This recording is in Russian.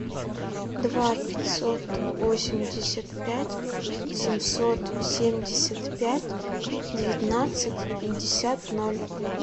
два пятьсот восемьдесят пять семьсот семьдесят пять девятнадцать пятьдесят ноль